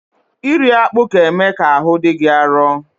Iri akpụ ga-eme ka ahụ dị gị arụ.